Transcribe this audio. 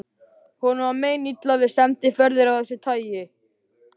Honum var meinilla við sendiferðir af þessu tagi.